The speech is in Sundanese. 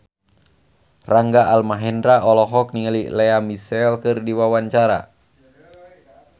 Rangga Almahendra olohok ningali Lea Michele keur diwawancara